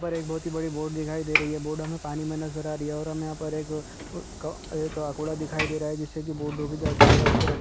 उधर एक बहोत ही बड़ी बोट दिखाई दे रही है बोट हमे पानी में नज़र आ रही है और हमें यहाँ पर क-- कौ एक आकोडा दिखाई दे रहा है जिससे कि बोट रोकी जाती है और उसे रस--